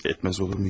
Etməz olur muyum heç?